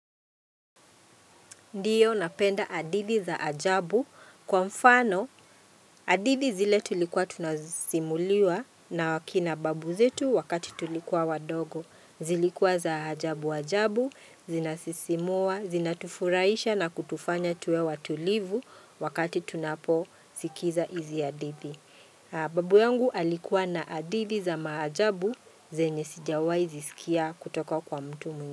Ndiyo napenda hadithi za ajabu kwa mfano hadithi zile tulikuwa tunasimuliwa na akina babu zetu wakati tulikuwa wadogo. Zilikuwa za ajabu ajabu, zinasisimua, zinatufuraisha na kutufanya tuwe watulivu wakati tunapo sikiza izi hadithi. Babu yangu alikuwa na hadithi za maajabu zenye sijawahi zisikia kutoka kwa mtu.